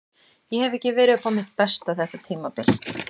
Ég hef ekki verið upp á mitt besta þetta tímabil.